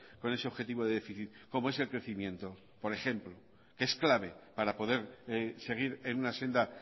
con ese objetivo de déficit como es el crecimiento por ejemplo es clave para poder seguir en una senda